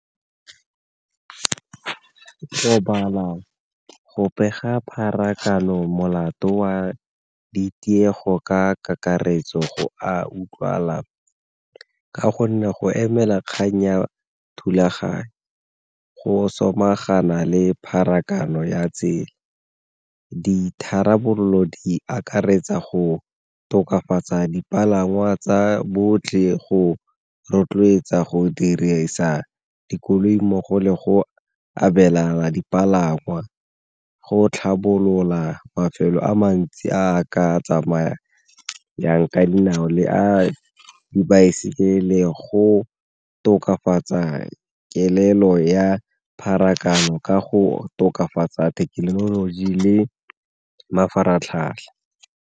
go pega pharakano molato wa ditiego ka kakaretso go a utlwala ka gonne go emela kgang ya thulaganyo, go samagana le pharakano ya tsela. Ditharabololo di akaretsa go tokafatsa dipalangwa tsa botlhe go rotloetsa go dirisa dikoloi mmogo le go abelana dipalangwa, go tlhabolola mafelo a mantsi a ka tsamayang ka dinao le a dibaesekele go tokafatsa kelelo ya pharakano ka go tokafatsa thekenoloji le mafaratlhatlha.